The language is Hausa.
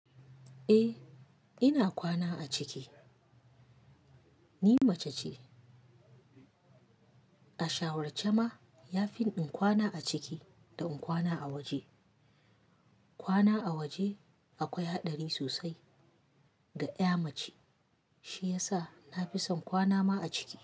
Eh ina kwana a ciki. Ni mace ce. A shawarce ma, ya fi in kwana a ciki da in kwana a waje. Kwana a waje akwai haɗari sosai ga ƴa mace. Shi ya sa na fi son kwana ma a ciki.